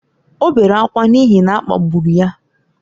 O bere ákwá n’ihi na a kpagburu ya